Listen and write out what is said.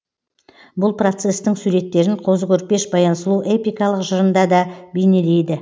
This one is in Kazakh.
бұл процестің суреттерін қозы көрпеш баян сұлу эпикалық жырында да бейнелейді